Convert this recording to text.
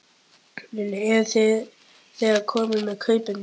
Lillý: Eruð þið þegar komnir með kaupendur?